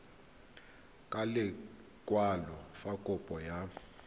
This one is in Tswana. ka lekwalo fa kopo ya